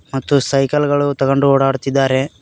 ಮತ್ತು ಸೈಕಲ್ ಗಳು ತುಗೊಂಡ್ ಒಡಾಡತಿದಾರೆ.